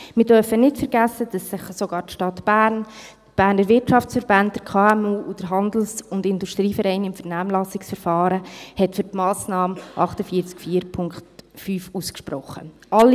Wir dürfen nicht vergessen, dass sich sogar die Stadt Bern, die Berner Wirtschaftsverbände, Berner KMU sowie der Handels- und Industrieverein des Kantons Bern im Vernehmlassungsverfahren für die Massnahme 48.4.5 ausgesprochen haben.